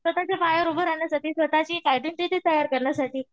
स्वतःच्या पायावर उभं राहण्यासाठी स्वतःची एक आयडेंटिटी तयार करण्यासाठी